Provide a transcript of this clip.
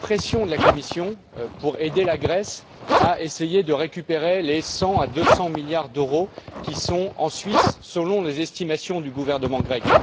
Où est la pression de la Commission pour aider la Grèce à essayer de récupérer les 100 à 200 milliards d'euros qui sont en Suisse, selon les estimations du gouvernement grec?